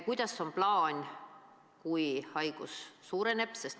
Kuidas on plaan, kui haigestumine suureneb?